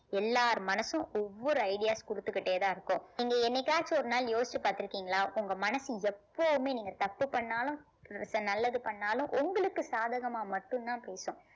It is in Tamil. எல்லார் மனசும் ஒவ்வொரு ideas குடுத்துக்கிட்டே தான் இருக்கும் நீங்க என்னைக்காச்சும் ஒரு நாள் யோசிச்சு பார்த்திருக்கீங்களா உங்க மனசு எப்பவுமே நீங்க தப்பு பண்ணாலும் நல்லது பண்ணாலும் உங்களுக்கு சாதகமா மட்டும்தான் பேசும்